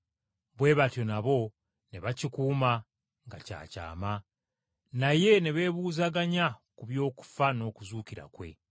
Bwe batyo nabo ne bakikuuma nga kya kyama, naye ne beebuuzaganya ku by’okufa n’okuzuukira kwe.